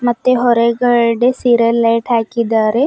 ಮತ್ತೆ ಹೊರಗಡೆ serial light ಹಾಕಿದ್ದಾರೆ.